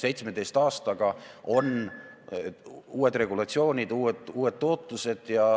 17 aastaga on kehtestatud uued regulatsioonid, tootlused on teistsugused.